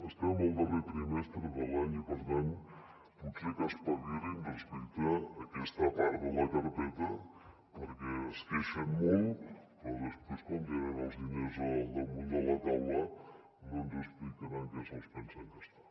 estem al darrer trimestre de l’any i per tant potser que espavilin respecte a aquesta part de la carpeta perquè es queixen molt però després quan tenen els diners al damunt de la taula no ens expliquen en què se’ls pensen gastar